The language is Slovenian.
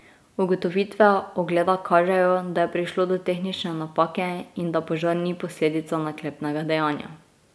Ugotovitve ogleda kažejo, da je prišlo do tehnične napake in da požar ni posledica naklepnega dejanja.